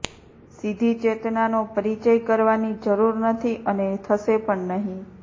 સીધી ચેતનાનો પરિચય કરવાની જરૂર નથી અને થશે પણ નહીં